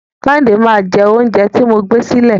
Kẹ́hìndé máa jẹ oúnjẹ tí mo gbé sílẹ̀.